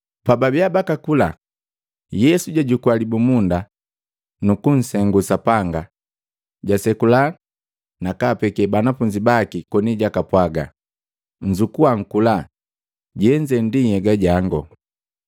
Pababia bakakula, Yesu jwajukua libumunda, nukunsengu Sapanga, jasekula na kapeke banafunzi baki koni jakapwaga, “Nzukua, nkula, jenze nhyega jango.”